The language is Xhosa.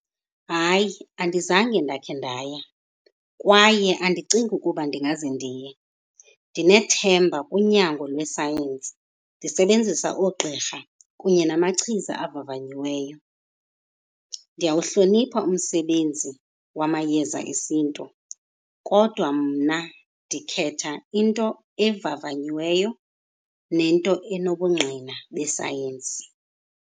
Hayi, andizange ndakhe ndaya kwaye andicingi ukuba ndingaze ndiye. Ndinethemba kunyango lwe-science, ndisebenzisa oogqirha kunye namachiza avavanyiweyo. Ndiyawuhlonipha umsebenzi wamayeza esiNtu kodwa mna ndikhetha into evavanyiweyo nento enobungqina be-science.